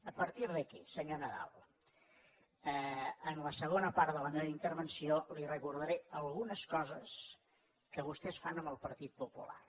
a partir d’aquí senyor nadal en la segona part de la meva intervenció li recordaré algunes coses que vostès fan amb el partit popular